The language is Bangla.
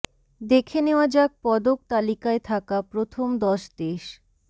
দেখে নেওয়া যাক পদক তালিকায় থাকা প্রথম দশ দেশ